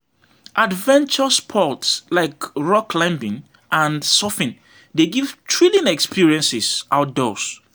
Adventure sports, like rock climbing and surfing, dey give thrilling experiences outdoors.